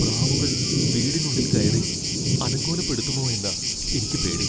പ്രാവുകൾ വീടിനുള്ളിൽ കയറി അലങ്കോലപ്പെടുത്തുമോ എന്നാ എനിക്ക് പേടി.